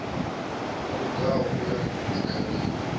no lugaho u ya dzikhareni